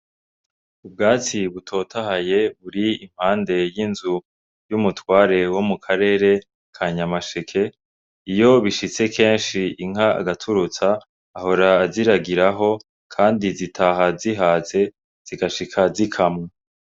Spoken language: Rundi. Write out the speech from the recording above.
ubwatsi butotahaye buri impande y'inzu y'umutware wo mu karere ka nyamasheke iyo bishitse kenshi inka arazoza ahora aziragiraho kandi zitaha zihaze zigashika zikamwa.